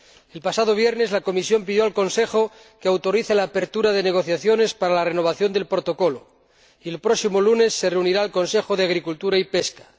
El pasado viernes, la Comisión pidió al Consejo que autorizara la apertura de negociaciones para la renovación del Protocolo y el próximo lunes se reunirá el Consejo de Agricultura y Pesca.